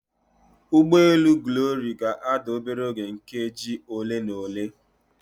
Ụgbọ elu Glory ga-ada obere oge nkeji ole na ole.